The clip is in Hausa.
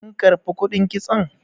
kin karbi kudin kitson?